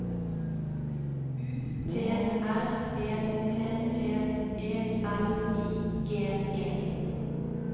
U T R E T T E L I G E